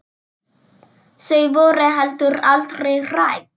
Þau voru heldur aldrei hrædd.